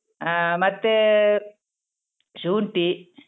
ಹ ಮತ್ತೇ ಶುಂಠಿ.